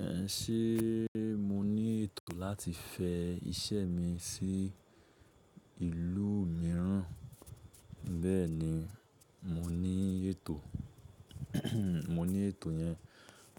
Ẹ ṣé mo ní ètò láti fẹ iṣẹ́ mi sí ìlú mìíràn? Bẹ́ẹ̀ni, mo ní ètò, mo ní ètò yẹn